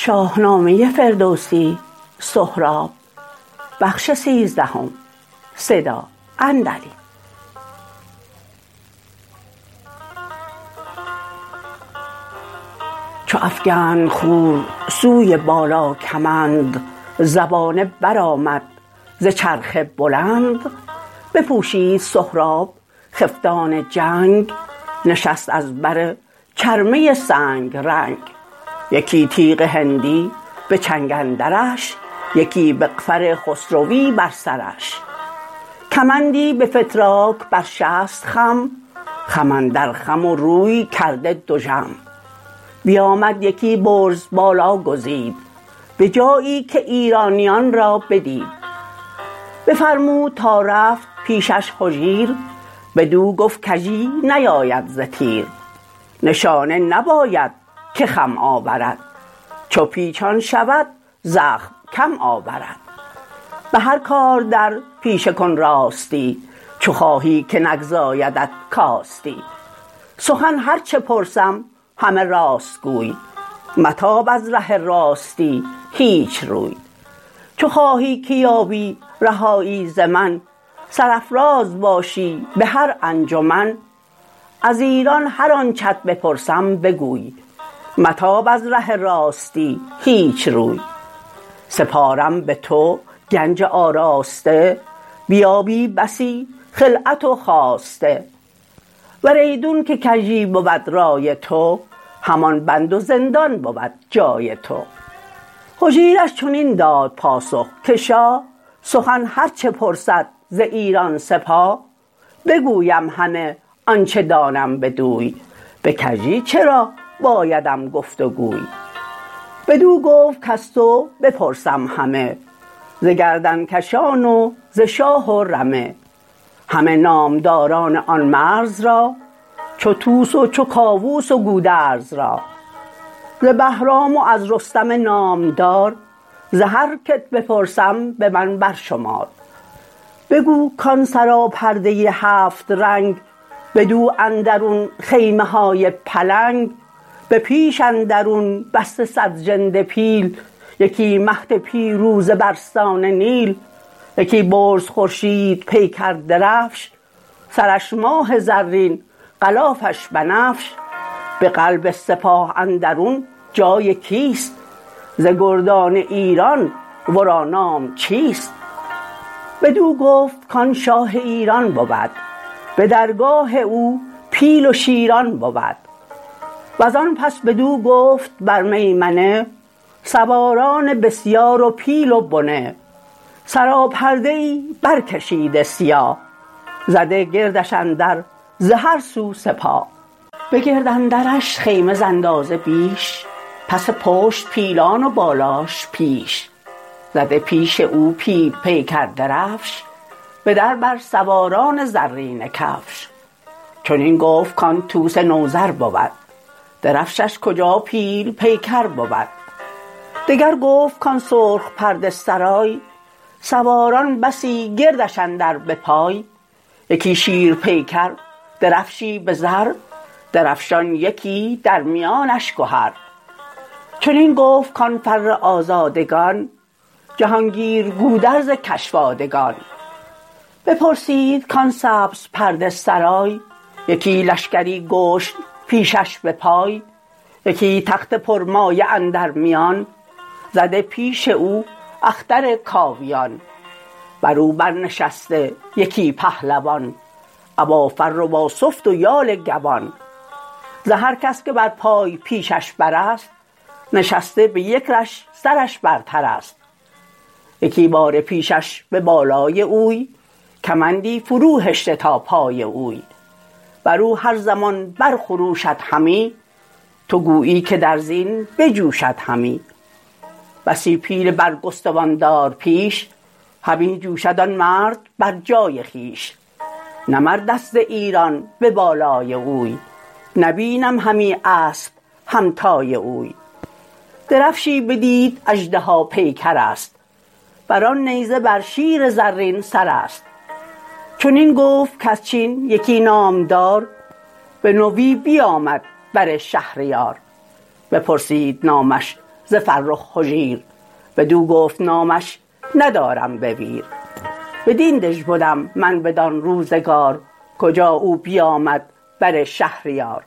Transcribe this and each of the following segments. چو افگند خور سوی بالا کمند زبانه برآمد ز چرخ بلند بپوشید سهراب خفتان جنگ نشست از بر چرمه سنگ رنگ یکی تیغ هندی به چنگ اندرش یکی مغفر خسروی بر سرش کمندی به فتراک بر شست خم خم اندر خم و روی کرده دژم بیامد یکی برز بالا گزید به جایی که ایرانیان را بدید بفرمود تا رفت پیشش هجیر بدو گفت کژی نیاید ز تیر نشانه نباید که خم آورد چو پیچان شود زخم کم آورد به هر کار در پیشه کن راستی چو خواهی که نگزایدت کاستی سخن هرچه پرسم همه راست گوی متاب از ره راستی هیچ روی چو خواهی که یابی رهایی ز من سرافراز باشی به هر انجمن از ایران هر آنچت بپرسم بگوی متاب از ره راستی هیچ روی سپارم به تو گنج آراسته بیابی بسی خلعت و خواسته ور ایدون که کژی بود رای تو همان بند و زندان بود جای تو هجیرش چنین داد پاسخ که شاه سخن هرچه پرسد ز ایران سپاه بگویم همه آنچ دانم بدوی به کژی چرا بایدم گفت وگوی بدو گفت کز تو بپرسم همه ز گردنکشان و ز شاه و رمه همه نامداران آن مرز را چو طوس و چو کاووس و گودرز را ز بهرام و از رستم نامدار ز هر کت بپرسم به من برشمار بگو کان سراپرده هفت رنگ بدو اندرون خیمه های پلنگ به پیش اندرون بسته صد ژنده پیل یکی مهد پیروزه برسان نیل یکی برز خورشید پیکر درفش سرش ماه زرین غلافش بنفش به قلب سپاه اندرون جای کیست ز گردان ایران ورا نام چیست بدو گفت کان شاه ایران بود بدرگاه او پیل و شیران بود وزان پس بدو گفت بر میمنه سواران بسیار و پیل و بنه سراپرده ای بر کشیده سیاه زده گردش اندر ز هر سو سپاه به گرد اندرش خیمه ز اندازه بیش پس پشت پیلان و بالاش پیش زده پیش او پیل پیکر درفش به در بر سواران زرینه کفش چنین گفت کان طوس نوذر بود درفشش کجاپیل پیکر بود دگر گفت کان سرخ پرده سرای سواران بسی گردش اندر به پای یکی شیر پیکر درفشی به زر درفشان یکی در میانش گهر چنین گفت کان فر آزادگان جهانگیر گودرز کشوادگان بپرسید کان سبز پرده سرای یکی لشکری گشن پیشش به پای یکی تخت پرمایه اندر میان زده پیش او اختر کاویان برو بر نشسته یکی پهلوان ابا فر و با سفت و یال گوان ز هر کس که بر پای پیشش براست نشسته به یک رش سرش برتر است یکی باره پیشش به بالای اوی کمندی فرو هشته تا پای اوی برو هر زمان برخروشد همی تو گویی که در زین بجوشد همی بسی پیل برگستوان دار پیش همی جوشد آن مرد بر جای خویش نه مردست از ایران به بالای اوی نه بینم همی اسپ همتای اوی درفشی بدید اژدها پیکرست بران نیزه بر شیر زرین سرست چنین گفت کز چین یکی نامدار بنوی بیامد بر شهریار بپرسید نامش ز فرخ هجیر بدو گفت نامش ندارم بویر بدین دژ بدم من بدان روزگار کجا او بیامد بر شهریار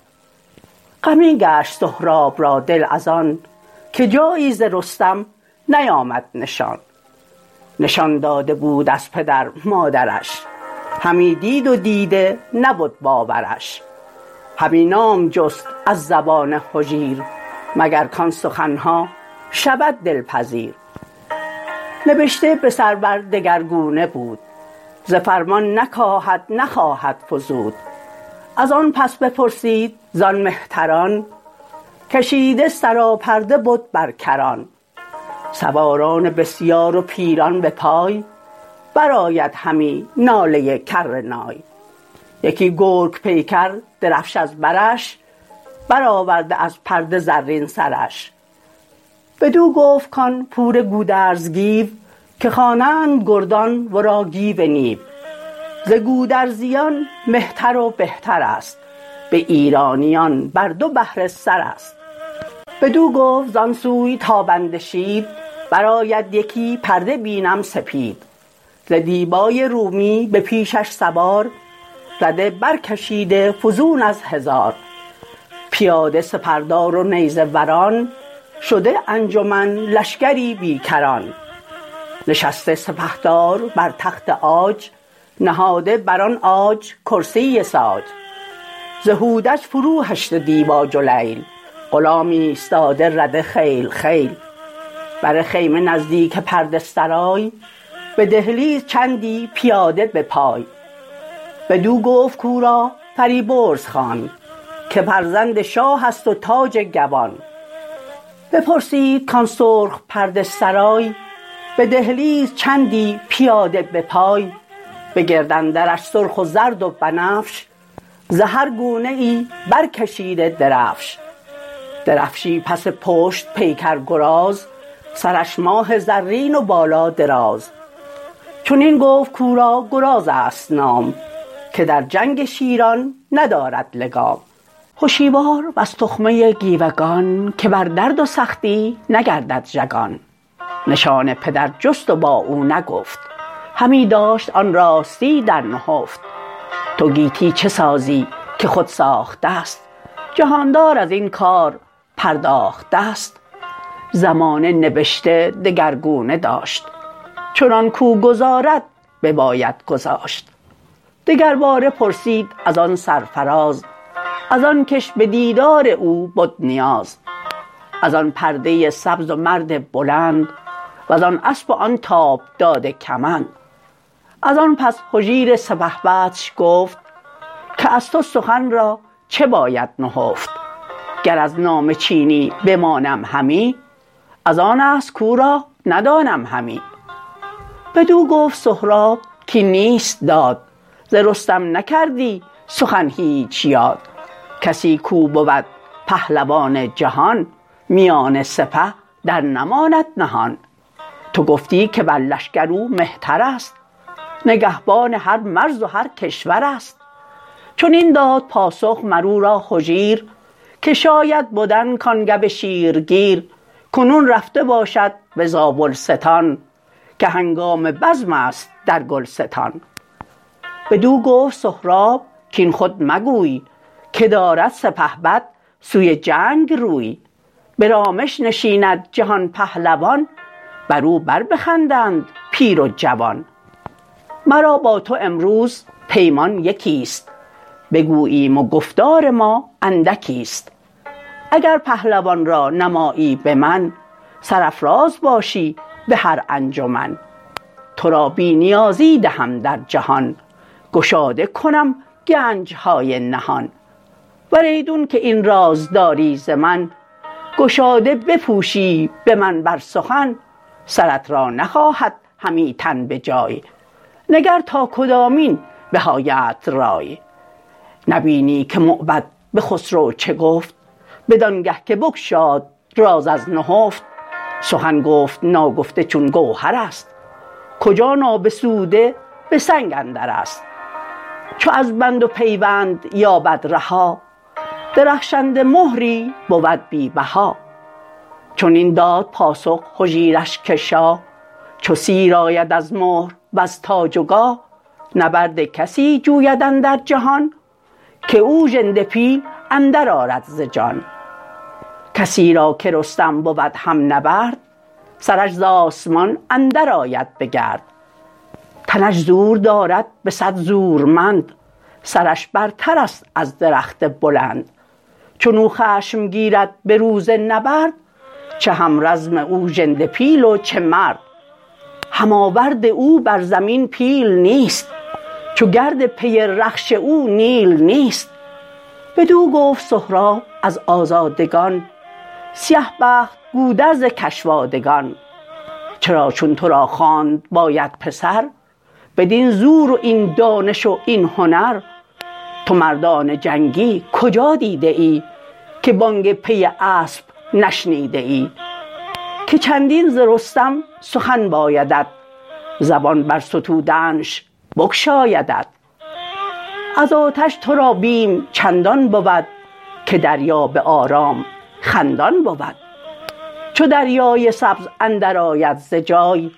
غمی گشت سهراب را دل ازان که جایی ز رستم نیامد نشان نشان داده بود از پدر مادرش همی دید و دیده نبد باورش همی نام جست از زبان هجیر مگر کان سخنها شود دلپذیر نبشته به سر بر دگرگونه بود ز فرمان نکاهد نخواهد فزود ازان پس بپرسید زان مهتران کشیده سراپرده بد برکران سواران بسیار و پیلان به پای برآید همی ناله کرنای یکی گرگ پیکر درفش از برش برآورده از پرده زرین سرش بدو گفت کان پور گودرز گیو که خوانند گردان ورا گیو نیو ز گودرزیان مهتر و بهترست به ایرانیان بر دو بهره سرست بدو گفت زان سوی تابنده شید برآید یکی پرده بینم سپید ز دیبای رومی به پیشش سوار رده برکشیده فزون از هزار پیاده سپردار و نیزه وران شده انجمن لشکری بی کران نشسته سپهدار بر تخت عاج نهاده بران عاج کرسی ساج ز هودج فرو هشته دیبا جلیل غلام ایستاده رده خیل خیل بر خیمه نزدیک پرده سرای به دهلیز چندی پیاده به پای بدو گفت کاو را فریبرز خوان که فرزند شاهست و تاج گوان بپرسید کان سرخ پرده سرای به دهلیز چندی پیاده به پای به گرد اندرش سرخ و زرد و بنفش ز هرگونه ای برکشیده درفش درفشی پس پشت پیکرگراز سرش ماه زرین و بالا دراز چنین گفت کاو را گرازست نام که در جنگ شیران ندارد لگام هشیوار و ز تخمه گیوگان که بر درد و سختی نگردد ژگان نشان پدر جست و با او نگفت همی داشت آن راستی در نهفت تو گیتی چه سازی که خود ساخت ست جهاندار ازین کار پرداخت ست زمانه نبشته دگرگونه داشت چنان کاو گذارد بباید گذاشت دگر باره پرسید ازان سرفراز ازان کش به دیدار او بد نیاز ازان پرده سبز و مرد بلند وزان اسپ و آن تاب داده کمند ازان پس هجیر سپهبدش گفت که از تو سخن را چه باید نهفت گر از نام چینی بمانم همی ازان است کاو را ندانم همی بدو گفت سهراب کاین نیست داد ز رستم نکردی سخن هیچ یاد کسی کاو بود پهلوان جهان میان سپه در نماند نهان تو گفتی که بر لشکر او مهترست نگهبان هر مرز و هر کشورست چنین داد پاسخ مر او را هجیر که شاید بدن کان گو شیرگیر کنون رفته باشد به زابلستان که هنگام بزمست در گلستان بدو گفت سهراب کاین خود مگوی که دارد سپهبد سوی جنگ روی به رامش نشیند جهان پهلوان برو بر بخندند پیر و جوان مرا با تو امروز پیمان یکیست بگوییم و گفتار ما اندکیست اگر پهلوان را نمایی به من سرافراز باشی به هر انجمن ترا بی نیازی دهم در جهان گشاده کنم گنجهای نهان ور ایدون که این راز داری ز من گشاده بپوشی به من بر سخن سرت را نخواهد همی تن به جای نگر تا کدامین به آیدت رای نبینی که موبد به خسرو چه گفت بدانگه که بگشاد راز از نهفت سخن گفت ناگفته چون گوهرست کجا نابسوده به سنگ اندرست چو از بند و پیوند یابد رها درخشنده مهری بود بی بها چنین داد پاسخ هجیرش که شاه چو سیر آید از مهر وز تاج و گاه نبرد کسی جویداندر جهان که او ژنده پیل اندر آرد ز جان کسی را که رستم بود هم نبرد سرش ز آسمان اندر آید به گرد تنش زور دارد به صد زورمند سرش برترست از درخت بلند چنو خشم گیرد به روز نبرد چه هم رزم او ژنده پیل و چه مرد هم آورد او بر زمین پیل نیست چو گرد پی رخش او نیل نیست بدو گفت سهراب از آزادگان سیه بخت گودرز کشوادگان چرا چون ترا خواند باید پسر بدین زور و این دانش و این هنر تو مردان جنگی کجا دیده ای که بانگ پی اسپ نشنیده ای که چندین ز رستم سخن بایدت زبان بر ستودنش بگشایدت از آتش ترا بیم چندان بود که دریا به آرام خندان بود چو دریای سبز اندر آید ز جای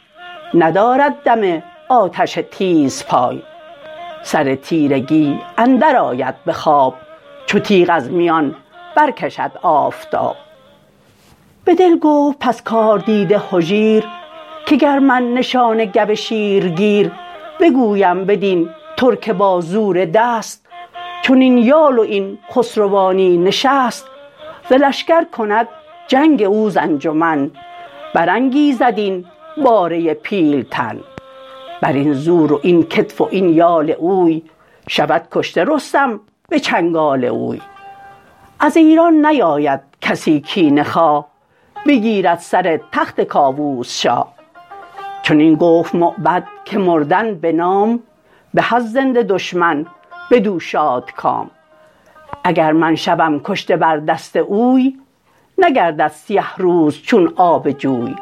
ندارد دم آتش تیزپای سر تیرگی اندر آید به خواب چو تیغ از میان برکشد آفتاب به دل گفت پس کاردیده هجیر که گر من نشان گو شیرگیر بگویم بدین ترک با زور دست چنین یال و این خسروانی نشست ز لشکر کند جنگ او ز انجمن برانگیزد این باره پیلتن برین زور و این کتف و این یال اوی شود کشته رستم به چنگال اوی از ایران نیاید کسی کینه خواه بگیرد سر تخت کاووس شاه چنین گفت موبد که مردن به نام به از زنده دشمن بدو شادکام اگر من شوم کشته بر دست اوی نگردد سیه روز چون آب جوی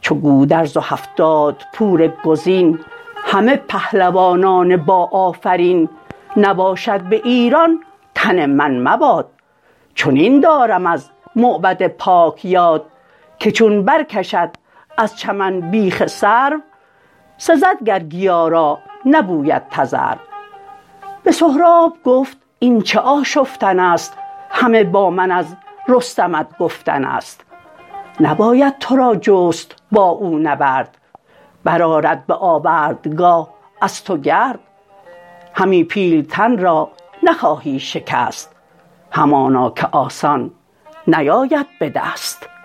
چو گودرز و هفتاد پور گزین همه پهلوانان با آفرین نباشد به ایران تن من مباد چنین دارم از موبد پاک یاد که چون برکشد از چمن بیخ سرو سزد گر گیا را نبوید تذرو به سهراب گفت این چه آشفتنست همه با من از رستمت گفتنست نباید ترا جست با او نبرد برآرد به آوردگاه از تو گرد همی پیلتن را نخواهی شکست همانا که آسان نیاید به دست